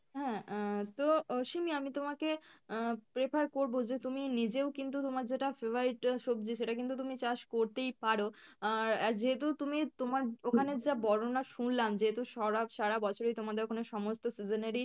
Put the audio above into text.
হ্যাঁ আহ তো আহ সিমি আমি তোমাকে আহ prefer করবো যে তুমি নিজেও কিন্তু তোমার যেটা favorite সবজি সেটা কিন্তু তুমি চাষ করতেই পারো আহ আর যেহেতু তুমি তোমার ওখানের যা বর্ণনা শুনলাম, যেহেতু সরা~ সারা বছরই তোমাদের ওখানে সমস্ত season এরই